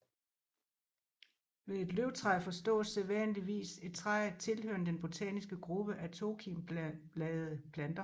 Ved et løvtræ forstås sædvanligvis et træ tilhørende den botaniske gruppe af tokimbladede planter